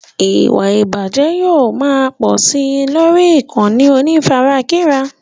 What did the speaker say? Ìwà ìbàjẹ́ yóò máa pò sí lórí ìkànnì onífarakínra.